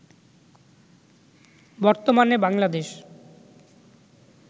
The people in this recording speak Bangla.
বর্তমানে বাংলাদেশ